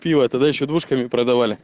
пиво тогда ещё двушками продавали